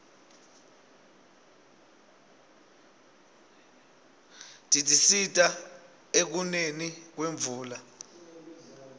tisisita ukuneni kwemvula